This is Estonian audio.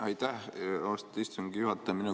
Aitäh, austatud istungi juhataja!